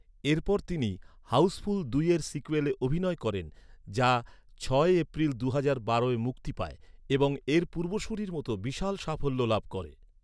এরপর তিনি হাউজফুল দুইয়ের সিক্যুয়েলে অভিনয় করেন, যা ছয় এপ্রিল দুহাজার বারোয় মুক্তি পায় এবং এর পূর্বসূরির মতো বিশাল সাফল্য লাভ করে।